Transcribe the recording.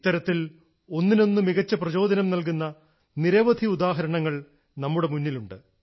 ഇത്തരത്തിൽ ഒന്നിനൊന്ന് മികച്ച പ്രചോദനം നൽകുന്ന നിരവധി ഉദാഹരണങ്ങൾ നമ്മുടെ മുന്നിലുണ്ട്